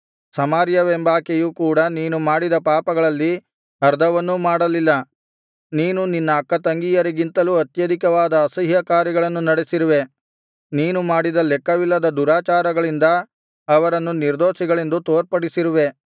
ಸಮಾರ್ಯವೆಂಬಾಕೆಯು ಕೂಡ ನೀನು ಮಾಡಿದ ಪಾಪಗಳಲ್ಲಿ ಅರ್ಧವನ್ನೂ ಮಾಡಲಿಲ್ಲ ನೀನು ನಿನ್ನ ಅಕ್ಕತಂಗಿಯರಿಗಿಂತಲೂ ಅತ್ಯಧಿಕವಾದ ಅಸಹ್ಯಕಾರ್ಯಗಳನ್ನು ನಡೆಸಿರುವೆ ನೀನು ಮಾಡಿದ ಲೆಕ್ಕವಿಲ್ಲದ ದುರಾಚಾರಗಳಿಂದ ಅವರನ್ನು ನಿರ್ದೋಷಿಗಳೆಂದು ತೋರ್ಪಡಿಸಿರುವೆ